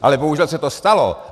Ale bohužel se to stalo.